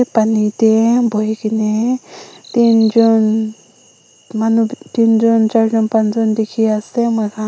pani te buhi kene tin jun manu tin jun char jun panch jun dikhi ase moi khan.